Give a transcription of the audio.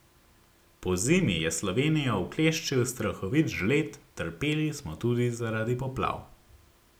Pozimi je Slovenijo ukleščil strahovit žled, trpeli smo tudi zaradi poplav.